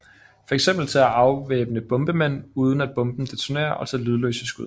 Fx til at afvæbne bombemænd uden at bomben detonerer og til lydløse skud